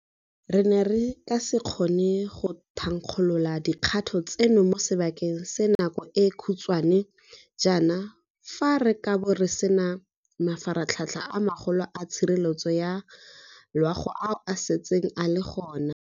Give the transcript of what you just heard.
Re ne re ka se kgone go thankgolola dikgato tseno mo sebakeng sa nako e e khutshwane jaana fa re kabo re sena mafaratlhatlha a magolo a tshireletso ya loago ao a setseng a le gona.